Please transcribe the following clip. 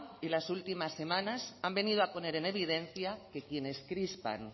y las últimas semanas han venido a poner en evidencia que quienes crispan